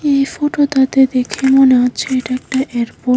এই ফটোটাতে দেখে মনে হচ্ছে এটা একটা এয়ারপোর্ট ।